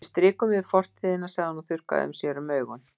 Við strikum yfir fortíðina, sagði hann og þurrkaði sér um augun.